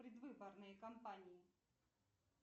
предвыборные компании